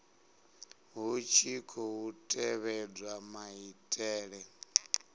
hu tshi khou tevhedzwa maitele